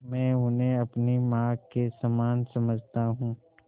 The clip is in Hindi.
मैं उन्हें अपनी माँ के समान समझता हूँ